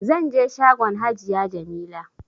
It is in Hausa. Zanje shagon hajiya jamila